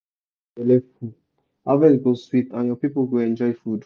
when soil belle full harvest go sweet and your people go enjoy food.